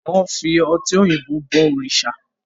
wón fí ọti òyìnbó bo òrìsà.